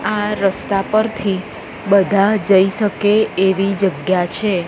આ રસ્તા પરથી બધા જઈ શકે એવી જગ્યા છે.